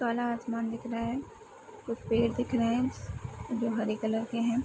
काला आसमान दिख रहा है कुछ पेड़ दिख रहे हैं जो हरे कलर के हैं।